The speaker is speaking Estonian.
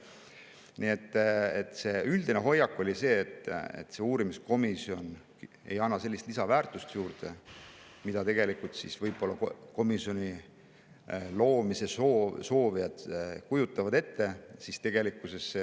Nii et see üldine hoiak oli see, et uurimiskomisjon ei anna sellist lisaväärtust, mida komisjoni loomise soovijad võib-olla ette kujutavad.